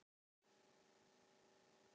Gerlar finnast í velflestum mjólkurafurðum.